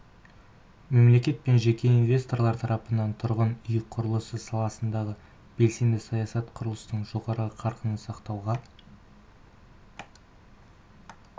мемлекет пен жеке инвесторлар тарапынан тұрғын үй құрылысы саласындағы белсенді саясат құрылыстың жоғары қарқынын сақтауға